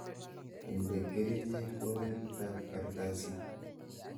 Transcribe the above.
Inde kerichek oritab kartasit.